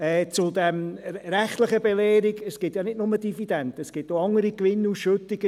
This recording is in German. Zu dieser rechtlichen Belehrung: Es gibt ja nicht nur Dividenden, es gibt auch andere Gewinnausschüttungen.